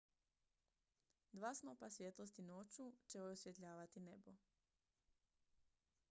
dva snopa svjetlosti noću će osvjetljavati nebo